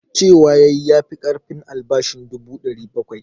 Cewa ya yi ya fi ƙarfin albashin dubu 700.